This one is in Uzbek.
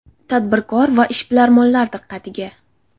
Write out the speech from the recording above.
Tadbirkor va ishbilarmonlar diqqatiga!